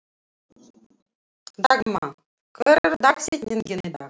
Dalmann, hver er dagsetningin í dag?